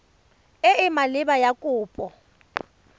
e e maleba ya kopo